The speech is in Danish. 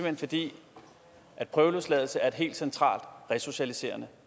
hen fordi prøveløsladelse er et helt centralt resocialiserende